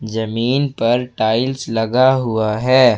जमीन पर टाइल्स लगा हुआ है।